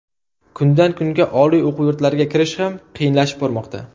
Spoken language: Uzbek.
Kundan kunga Oliy o‘quv yurtlariga kirish ham qiyinlashib bormoqda.